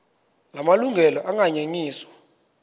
la malungelo anganyenyiswa